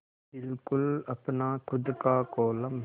बिल्कुल अपना खु़द का कोलम